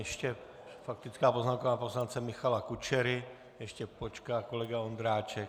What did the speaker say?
Ještě faktická poznámka pana poslance Michala Kučery, ještě počká kolega Ondráček.